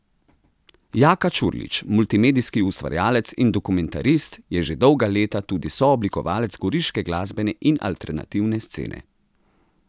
Jaka Čurlič, multimedijski ustvarjalec in dokumentarist, je že dolga leta tudi sooblikovalec goriške glasbene in alternativne scene.